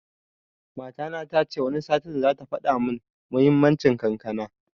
Matana tace Wani satin zata faɗa mun muhimmanci kankana